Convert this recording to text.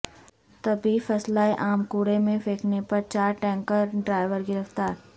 طبی فضلہ عام کوڑے میں پھینکنے پر چار ٹینکر ڈرائیور گرفتار